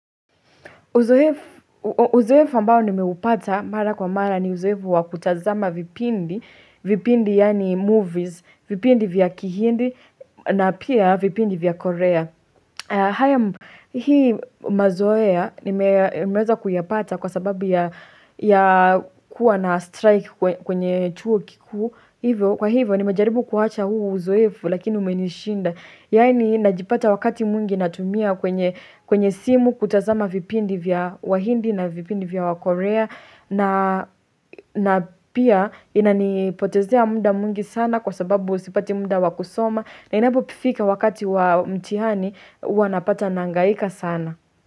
Uzoefu, uzoefu ambao nimeupata mara kwa mara ni uzoefu wa kutazama vipindi, vipindi yaani movies, vipindi vya kihindi na pia vipindi vya korea. Hii mazoea nimeweza kuyapata kwa sababu ya kuwa na strike kwenye chuo kikuu hivo. Kwa hivyo ni mejaribu kuacha huu uzoefu lakini umenishinda. Yani najipata wakati mwingi natumia kwenye simu kutazama vipindi vya wahindi na vipindi vya wakorea. Na pia inanipotezea muda mwingi sana kwa sababu sipati muda wakusoma. Na inapofika wakati wa mtihani huwanapata nahangaika sana.